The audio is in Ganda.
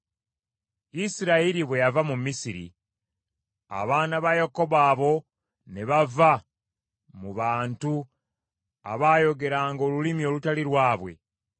Isirayiri bwe yava mu Misiri, abaana ba Yakobo abo, ne bava mu bantu abaayogeranga olulimi olutali lwabwe;